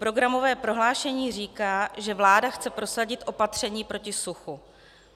Programové prohlášení říká, že vláda chce prosadit opatření proti suchu.